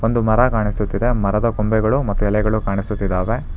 ಒಂದು ಮರ ಕಾಣಿಸುತ್ತಿದೆ ಮತ್ತು ಮರದ ಕೊಂಬೆಗಳು ಮತ್ತು ಎಲೆಗಳು ಕಾಣಿಸುತ್ತಿದ್ದಾವೆ.